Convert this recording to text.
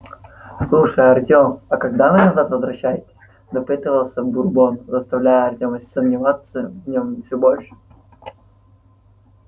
слушай артём а когда вы назад возвращаетесь допытывался бурбон заставляя артёма сомневаться в нём всё больше